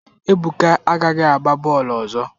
Ebuka agaghị agba bọọlụ ọzọ!